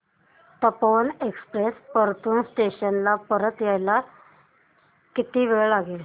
Tapovan express Partur station ला यायला किती वेळ लागेल